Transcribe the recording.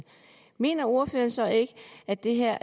mener ordføreren så ikke at det her